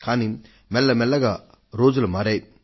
కానీ మెల్ల మెల్లగా రోజులు మారాయి